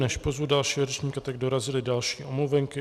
Než pozvu dalšího řečníka, tak dorazily další omluvenky.